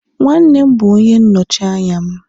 nwannem bu onye nnochi anya'm